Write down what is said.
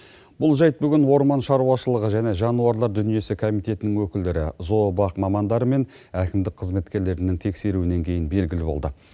бұл жайт бүгін орман шаруашылығы және жануарлар дүниесі комитетінің өкілдері зообақ мамандары мен әкімдік қызметкерлерінің тексеруінен кейін белгілі болды